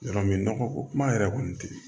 Yɔrɔ min nɔgɔ ko kuma yɛrɛ kɔni tɛ